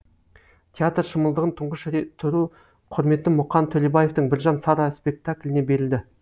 театр шымылдығын тұңғыш тұру құрметі мұқан төлебаевтың біржан сара спектакліне берілді